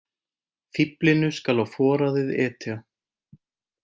Fíflinu skal á foraðið etja.